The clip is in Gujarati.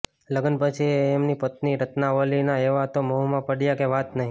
લગ્ન પછી એ એમની પત્ની રત્નાવલીના એવા તો મોહમાં પડ્યા કે વાત નહિ